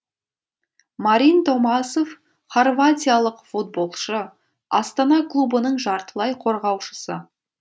марин томасов хорватиялық футболшы астана клубының жартылай қорғаушысы